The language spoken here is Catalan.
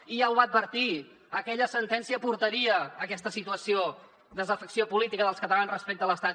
i ja ho va advertir aquella sentència portaria a aquesta situació desafecció política dels catalans respecte a l’estat